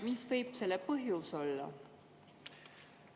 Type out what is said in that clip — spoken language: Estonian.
Mis võib selle põhjus olla?